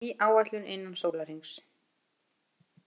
Ný áætlun innan sólarhrings